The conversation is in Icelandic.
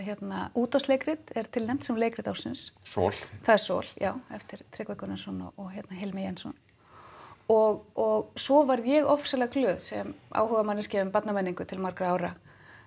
útvarpsleikrit er tilnefnt sem leikrit ársins sol það er já eftir Tryggva Gunnarsson og Hilmi Jensson og svo varð ég ofboðslega glöð sem áhugamanneskja um barnamenningu til margra ára